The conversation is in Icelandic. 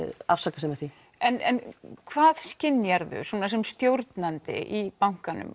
afsaka sig með því en hvað skynjar þú sem stjórnandi í bankanum